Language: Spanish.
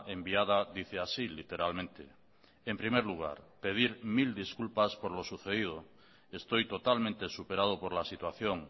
enviada dice así literalmente en primer lugar pedir mil disculpas por lo sucedido estoy totalmente superado por la situación